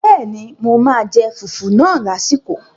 Bẹ́ẹ̀ni, mo máa jẹ fùfú náà lásìkò